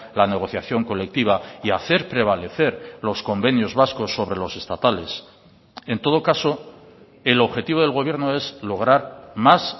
la negociación colectiva y hacer prevalecer los convenios vascos sobre los estatales en todo caso el objetivo del gobierno es lograr más